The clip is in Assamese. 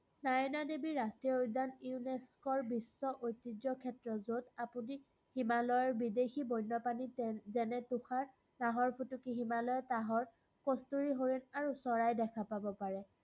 স্বাৰদা দেৱী ৰাষ্ট্ৰীয় উদ্যান UNESCO ৰ বিশ্ব ঐতিয্যক্ষেত্ৰ, যত আপুনি হিমালয়ৰ বিদেশী বন্যপ্ৰাণী যেনে তুষাৰ নাহৰফুটুকী হিমালয়ৰ, কষ্টুৰি হৰিণ আৰু চৰাই দেখা পাব পাৰে।